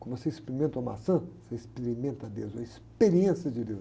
Como você experimenta uma maçã, você experimenta Deus, uma experiência de Deus.